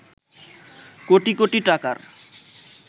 কোটি কোটি টাকার